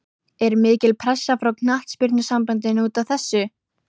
Er mikil pressa frá Knattspyrnusambandinu útaf þessu?